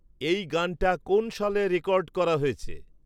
এই গানটা কোন সালে রেকর্ড করা হয়েছে?